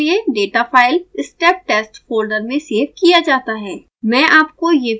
इस परिक्षण के लिए data file step test folder में सेव किया जाता है